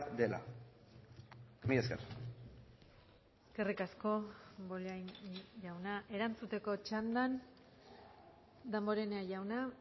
dela mila esker eskerrik asko bollain jauna erantzuteko txandan damborenea jauna